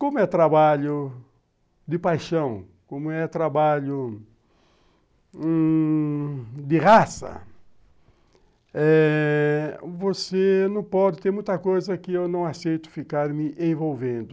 Como é trabalho de paixão, como é trabalho hum... de raça, você não pode ter muita coisa que eu não aceito ficar me envolvendo.